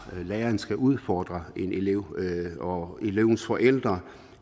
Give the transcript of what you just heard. læreren skal udfordre en elev og elevens forældre